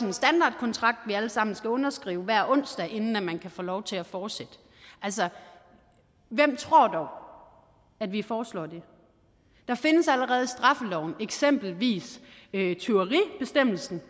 en standardkontrakt vi alle sammen skal underskrive hver onsdag inden man kan få lov til at fortsætte altså hvem tror dog at vi foreslår det der findes allerede i straffeloven eksempelvis tyveribestemmelsen